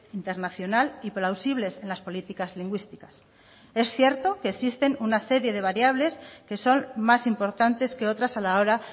internacional y plausibles en las políticas lingüísticas es cierto que existen una serie de variables que son más importantes que otras a la hora